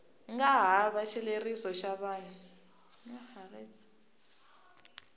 nga hava xileriso xa vun